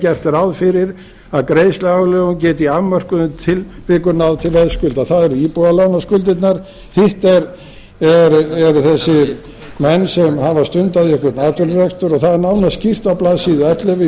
gert ráð fyrir að greiðsluaðlögun geti í afmörkuðum tilvikum náð til veðskulda það eru íbúðalánaskuldirnar hitt eru þessir menn sem hafa stundað einhvern atvinnurekstur og það er nánar skýrt á blaðsíðu ellefu í